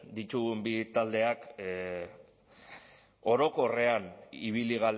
ditugun bi taldeak orokorrean ibili